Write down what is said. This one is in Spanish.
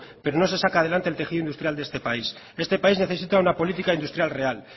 pero no se saca adelante el tejido industrial de este país este país necesita una política industrial real